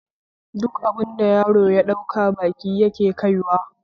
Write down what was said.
Duk abin da yaron ya ɗauka baki yake kaiwa